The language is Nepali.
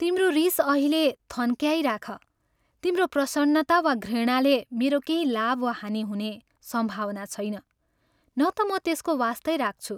तिम्रो रीस अहिले थन्क्याइराख तिम्रो प्रसन्नता वा घृणाले मेरो केही लाभ वा हानि हुने सम्भावना छैन, न ता म त्यसको वास्तै राख्छु।